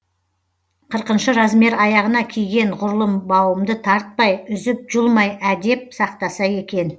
қырқыншы размер аяғына киген ғұрлым бауымды тартпай үзіп жұлмай әдеп сақтаса екен